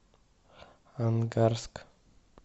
ангарск